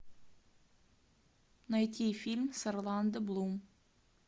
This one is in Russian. найти фильм с орландо блум